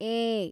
ಏ